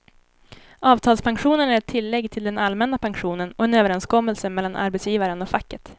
Avtalspensionen är ett tillägg till den allmänna pensionen och en överenskommelse mellan arbetsgivaren och facket.